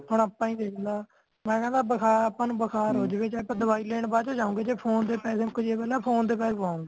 ਹੁਣ ਆਪਾ ਈ ਦੇਖ ਲੈ ਮੈਂ ਕਹਿਣਾ ਬੁਖਾਰ ਆਪਾ ਨੂੰ ਬੁਖਾਰ ਹੋਜਵੇ ਚਯੇ ਪਰ ਦਵਾਈ ਲੈਣ ਬਾਅਦ ਚੋ ਜਾਉਂਗੇ ਜਦ ਫੋਨ ਦੇ ਪੈਸੈ ਮੁਕਜੇ ਨਾ ਫੋਨ ਦੇ pack ਪੁਅੰਗੁਏ